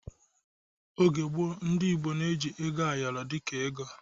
Oge gboọ, ndị Igbo n'eji ego ayoro dịka ego